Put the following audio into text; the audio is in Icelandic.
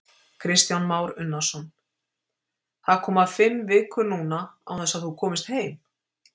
Kristján Már Unnarsson:: Það koma fimm vikur núna án þess að þú komist heim?